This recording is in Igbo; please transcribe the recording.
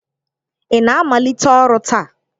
Ị na-amalite ọrụ taa?